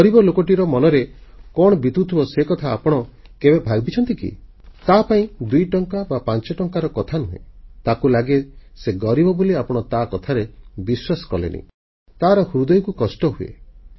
ଗରିବ ଲୋକଟିର ମନରେ କଣ ବିତୁଥିବ ସେକଥା ଆପଣ କେବେ ଭାବିଛନ୍ତି କି ତାପାଇଁ ଦୁଇଟଙ୍କା ବା ପାଞ୍ଚଟଙ୍କାର କଥା ନୁହେଁ ତାକୁ ଲାଗେ ସେ ଗରିବ ବୋଲି ଆପଣ ତାକଥାରେ ବିଶ୍ୱାସ କଲେନି ତାର ହୃଦୟକୁ କଷ୍ଟ ହୁଏ